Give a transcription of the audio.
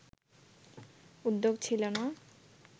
উদ্যোগ ছিল না